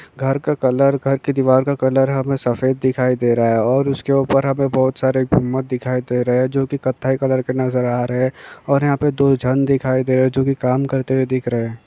घर का कलर घर की दीवार का कलर हमें सफेद दिखाई दे रहा है। और उस के उपर हमें बहुत सारे घुमक दिखाई दे रहे हे जो कत्थई कलर के नजर आ रहे हैं। और यहाँ पे दो जन दिखाई दे रहे हे जो की कम करते हुए दिख रहे हैं।